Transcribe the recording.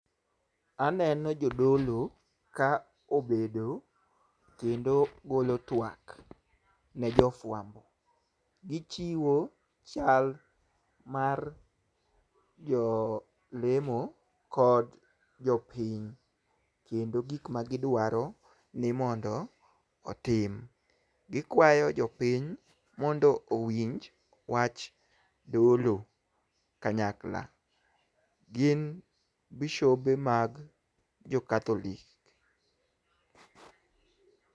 Aneno jodolo ka obedo kendo golo twak ne jofwambo. Gichiwo chal mar jolemo kod jopiny kendo gik ma gidwaro ni mondo otim . Gikwayo jopiny mondo owinj wach dolo kanyakla. Gin bishobe mag jo katholik